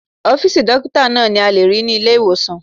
Ọ́fìsì dókítà náà ni a lè rí ní ilé-ìwòsàn